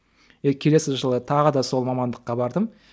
келесі жылы тағы да сол мамандыққа бардым